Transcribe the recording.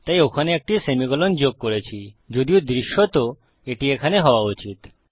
তাই ওখানে একটি সেমিকোলন যোগ করেছি যদিও দৃশ্যত এটি এখানে হওযা উচিত